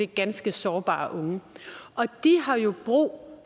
ganske sårbare unge og de har jo brug